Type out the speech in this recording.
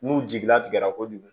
N'u jigila tigɛra kojugu